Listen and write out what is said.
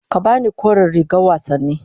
Ka ba ni kore rigar wasanni.